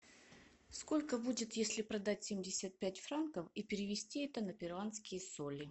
сколько будет если продать семьдесят пять франков и перевести это на перуанские соли